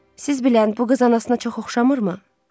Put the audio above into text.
Siz bilən bu qız anasına çox oxşamırmı?